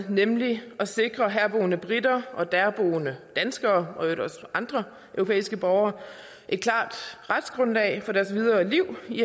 nemlig at sikre herboende briter og derboende danskere og i øvrigt også andre europæiske borgere et klart retsgrundlag for deres videre liv i